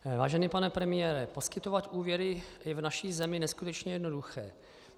Vážený pane premiére, poskytovat úvěry je v naší zemi neskutečně jednoduché.